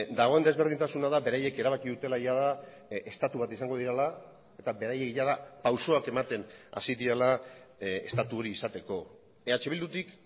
dagoen desberdintasuna da beraiek erabaki dutela jada estatu bat izango direla eta beraiek jada pausoak ematen hasi direla estatu hori izateko eh bildutik